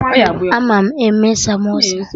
Ama m eme samosa